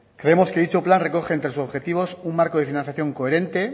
creemos que dicho plan recoge entre los objetivos un marco de financiación coherente